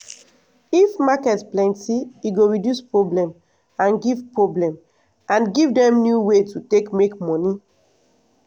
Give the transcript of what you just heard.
if market plenty e go reduce problem and give problem and give dem new way to take make money.